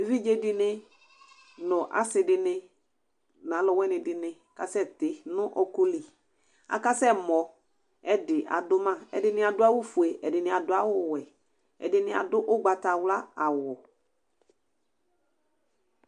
Evidze dɩnɩ nʋ asɩ dɩnɩ nʋ alʋ wɩnɩ dɩnɩ kasɛtɩ nʋ ɔkʋliAkasɛ mɔ, ɛdɩ adʋ maƐdɩnɩ adʋ awʋ fue, ɛdɩnɩ adʋ awʋ wɛ, ɛdɩnɩ adʋ ʊgbatawla awʋ